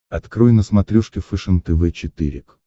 открой на смотрешке фэшен тв четыре к